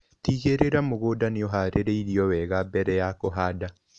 Tigĩrĩra mũgũnda nĩũharĩirio wega mbere ya kũhanda.